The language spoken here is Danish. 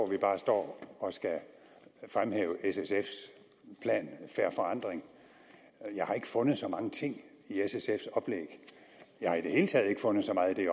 vi bare står og skal fremhæve s sf’s plan fair forandring jeg har ikke fundet så mange ting i s sf’s oplæg jeg har i det hele taget ikke fundet så meget i